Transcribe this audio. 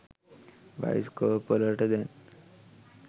bioscope වලට දැන්